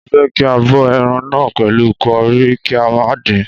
Mo fẹ́ kí a bọ ẹran náà pẹ̀lú curry, kí a má dín-in..